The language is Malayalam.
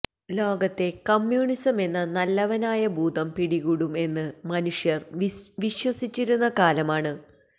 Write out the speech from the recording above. ലോകത്തെ കമ്യൂണിസമെന്ന നല്ലവനായ ഭൂതം പിടികൂടും എന്ന് മനുഷ്യര് വിശ്വസിച്ചിരുന്ന കാലമാണ്